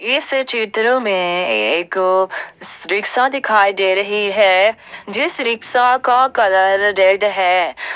इस चित्र में एक रिक्शा दिखाई दे रही है जिस रिक्शा का कलर रेड है।